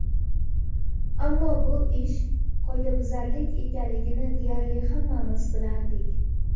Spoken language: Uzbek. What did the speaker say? Ammo bu ish qoidabuzarlik ekanligini deyarli hammamiz bilardik.